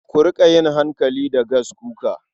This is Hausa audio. Ku riƙa yin hankali da gaskuka.